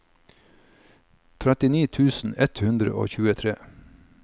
trettini tusen ett hundre og tjuetre